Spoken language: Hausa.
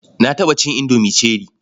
Na taɓa cin indomi cherie.